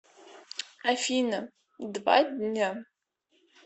афина два дня